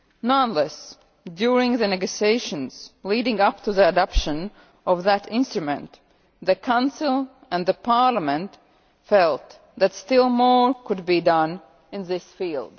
Nonetheless, during the negotiations leading up to the adoption of the instrument, the Council and Parliament felt that still more could be done in this field.